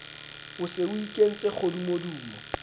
o se o ikentse kgodumodumo